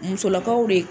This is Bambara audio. Musolakaw de